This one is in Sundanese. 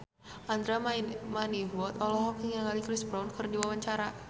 Andra Manihot olohok ningali Chris Brown keur diwawancara